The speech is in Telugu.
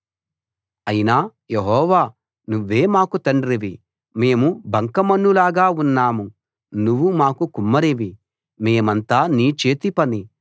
అయినా యెహోవా నువ్వే మాకు తండ్రివి మేము బంకమన్నులాగా ఉన్నాం నువ్వు మాకు కుమ్మరివి మేమంతా నీ చేతి పని